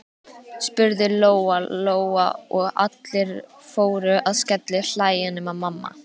spurði Lóa Lóa, og allir fóru að skellihlæja nema mamma.